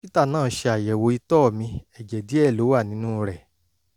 dókítà náà ṣe àyẹ̀wò ìtọ̀ mi; ẹ̀jẹ̀ díẹ̀ ló wà nínú rẹ̀